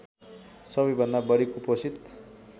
सबैभन्दा बढी कुपोषित